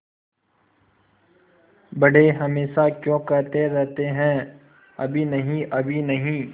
बड़े हमेशा क्यों कहते रहते हैं अभी नहीं अभी नहीं